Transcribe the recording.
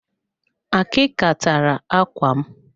Akika tara ákwà m.